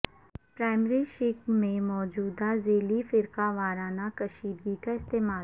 primary شق میں موجود ذیلی فرقہ وارانہ کشیدگی کا استعمال